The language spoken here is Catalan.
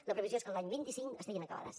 la previsió és que l’any vint cinc estiguin acabades